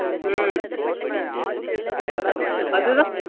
ஹம் அது தான்